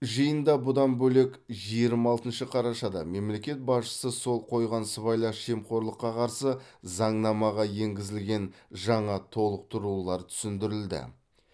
жиында бұдан бөлек жиырма алтыншы қарашада мемлекет басшысы қол қойған сыбайлас жемқорлыққа қарсы заңнамаға енгізілген жаңа толықтырулар түсіндірілді